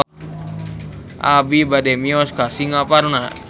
Abi bade mios ka Singaparna